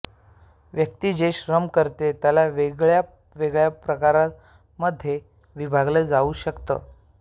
व्यक्ती जे श्रम करते त्याला वेगळ्या वेगळ्या प्रकारां मध्ये विभागलं जाऊ शकतं